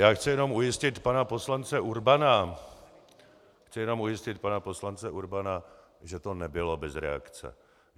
Já chci jenom ujistit pana poslance Urbana , chci jenom ujistit pana poslance Urbana, že to nebylo bez reakce.